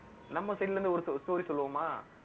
நம்ம side ல இருந்து ஒரு story சொல்லுவோமா